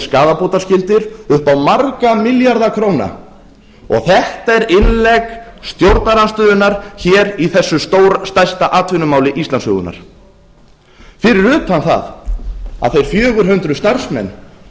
skaðabótaskyldir upp á marga milljarða króna þetta er innlegg stjórnarandstöðunnar hér í þessu stærsta atvinnumáli íslandssögunnar fyrir utan það að þeir fjögur hundruð starfsmenn